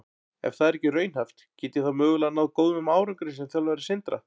Ef það er ekki raunhæft, get ég þá mögulega náð góðum árangri sem þjálfari Sindra?